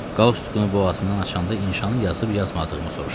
Qoqsukunu boğazından açanda inşa yazıb yazmadığımı soruşdu.